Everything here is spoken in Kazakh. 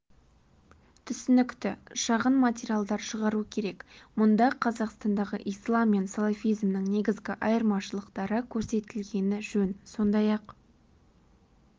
түсінікті шағын материалдар шығару керек мұнда қазақстандағы ислам мен салафизмнің негізгі айырмашылықтары көрсетілгені жөн сондай-ақ